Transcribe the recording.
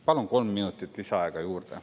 Palun kolm minutit lisaaega juurde.